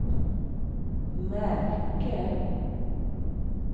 märke